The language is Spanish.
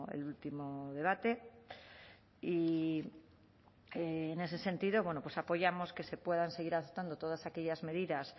el último debate y en ese sentido bueno pues apoyamos que se puedan seguir adoptando todas aquellas medidas